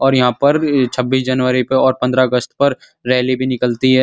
और यहाँ पर छब्बीस जनवरी पर और पद्रह अगस्त पर रैली भी निकलती है।